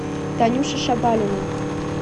танюше шабалиной